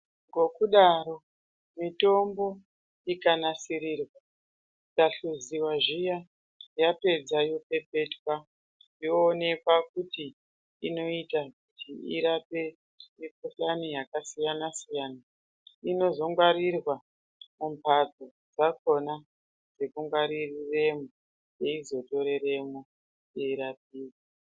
Ngokudaro mitombo ikanasirirwa ,ikahluziwa zviya yapedza yopepetwa yoonekwa kuti inoita kuti irape mikhuhlani yakasiyanasiyana inozogwarirwa mumhatso dzakona dzekungwaririra dzeizotorweremo teirapiwa.